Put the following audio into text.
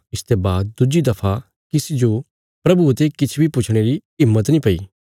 इसते बाद दुज्जी दफा किसी जो प्रभुये ते किछ बी पुछणे री हिम्मत नीं पैई